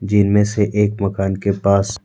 जीनमें से एक मकान के पास--